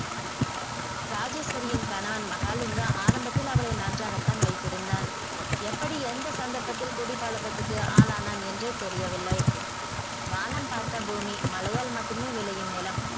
ராஜேஷ்வரியின் கணவன் மகள் இங்கு ஆரம்பத்தில் அவளை நன்றாக தான் வைத்திருந்தான் எப்படி எந்த சந்தரப்பத்தில் குடிபழக்கத்துக்கு ஆள் ஆனான் என்றறே தெரியவில்லை வானம் பார்த்த பூமி மழையால் மட்டும் விலையும் நிலம்